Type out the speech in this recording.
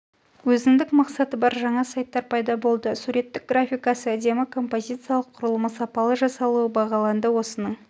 өзіндік мақсаты бар жаңа сайттар пайда болды суреттік графикасы әдемі композициялық құрылымы сапалы жасалуы бағаланды осының